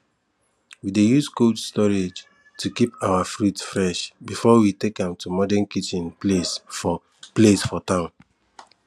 we dey use cold storage to keep our fruits fresh before we take am to modern kitchen place for place for town